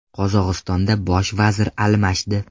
Qozog‘istonda bosh vazir almashdi.